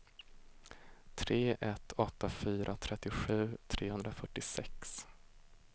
tre ett åtta fyra trettiosju trehundrafyrtiosex